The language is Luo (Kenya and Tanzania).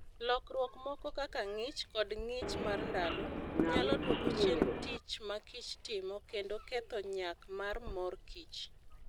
Lokruok moko kaka ng'ich kod ng'ich mar ndalo, nyalo dwoko chien tich ma kich timo kendo ketho nyak mar mor kich.